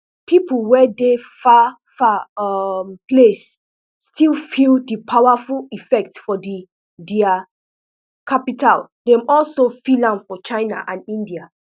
pipo wey dey far far um place still feel di powerful effect for di thai capital dem also feel am for china and india